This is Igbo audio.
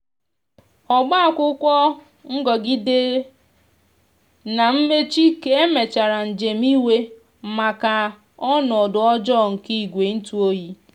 ọba akwụkwo ngogidere na mmechi ka emechara njem iwe maka ọnodo ọjọ nke igwe ntụ ọyi